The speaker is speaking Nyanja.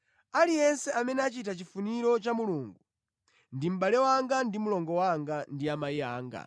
Aliyense amene achita chifuniro cha Mulungu ndi mʼbale wanga ndi mlongo wanga ndi amayi anga.”